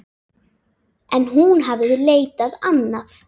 En hún hafði leitað annað.